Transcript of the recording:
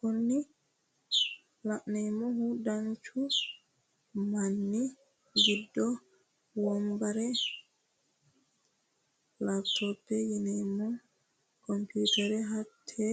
Kuni la'neemohu danchu mini giddo wonbare, laptopete yineemo komputerenna hatte